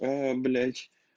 блять